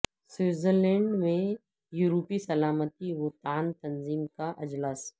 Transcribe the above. Switzer land میں یورپی سلامتی و تعان تنظیم کا اجلاس